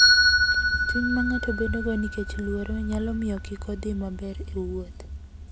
Chuny ma ng'ato bedogo nikech luoro, nyalo miyo kik odhi maber e wuoth.